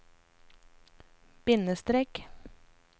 bindestrek